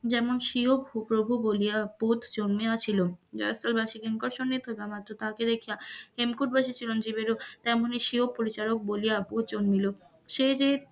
যেমন স্বিয় প্রভু বলিয়া ভুত জন্মিয়াছিল, জয়স্থলবাসি কিঙ্করের সামনে প্রধান আচার্জ তাকে দেখিয়া হেমকূট বাসী চিরঞ্জীব এমনই স্বীয় পরিচায়ক বলিয়া ভুত জন্মিল সে যে,